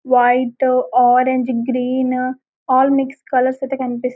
white orange green all mix colours ఐతే కనిపిస్తు --